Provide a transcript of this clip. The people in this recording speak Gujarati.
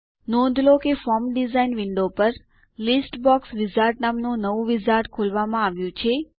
નોંધ લો કે ફોર્મ ડિઝાઇન વિન્ડો પર લિસ્ટ બોક્સ વિઝાર્ડ નામનું નવું વિઝાર્ડ ખોલવામાં આવ્યું છે